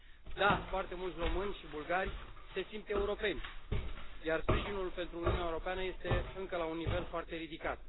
Da, foarte mulți români și bulgari se simt europeni, iar sprijinul pentru Uniunea Europeană este încă la un nivel foarte ridicat.